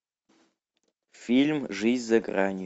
фильм жизнь за гранью